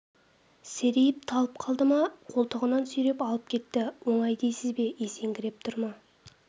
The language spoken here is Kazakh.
серейіп талып қалды ма қолтығынан сүйреп алып кетті оңай дейсіз бе есеңгіреп тұр ма